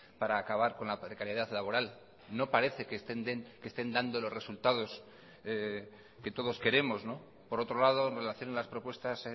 para acabar con la precariedad laboral no parece que estén dando los resultados que todos queremos por otro lado en relación a las propuestas